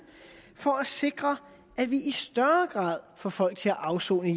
for at sikre at vi i større grad får folk til at afsone i